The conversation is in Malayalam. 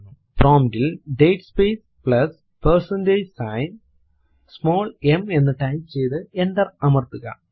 പ്രോംപ്റ്റ് ൽ date space plus percentage sign small m എന്ന് ടൈപ്പ് ചെയ്തു എന്റർ അമർത്തുക